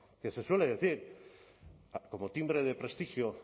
que se suele decir como timbre de prestigio